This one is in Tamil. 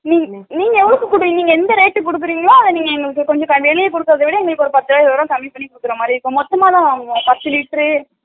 நீங் நீங்க எவ்ளோக்கு குடுப் குடுப்பிங்கிலோ எந்த rate க்கு குடுப்பிங்கிலோ அத நீங்க எங்களுக்கு கொஞ்சம் வெளில குடுக்குரவிட அதவிட பத்தோ இருபதோ கம்மிபண்ணி குடுக்குரமாரி இருக்கும். மொத்தமாதா வாங்குவோ பத்து லிட்டர் உ